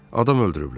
Adam öldürüblər.